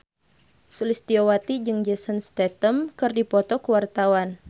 Sulistyowati jeung Jason Statham keur dipoto ku wartawan